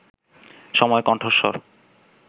সময়ের কণ্ঠস্বর